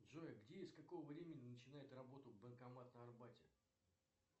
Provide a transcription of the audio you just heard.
джой где и с какого времени начинает работу банкомат на арбате